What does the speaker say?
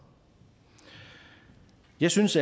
jeg synes